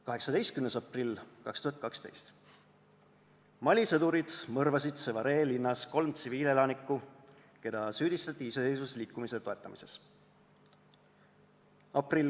18. aprill 2012: Mali sõdurid mõrvasid Sévaré linnas kolm tsiviilelanikku, keda süüdistati iseseisvusliikumise toetamises.